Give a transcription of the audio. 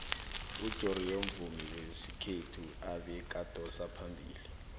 ujoriyo mvumi wesikhethu ebekadosa phambili